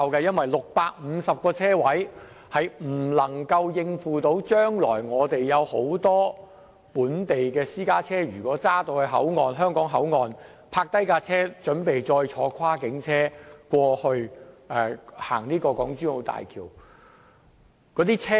現時只有650個泊車位，並不足以應付未來大量本地私家車於香港口岸停泊，以轉乘跨境車通過港珠澳大橋。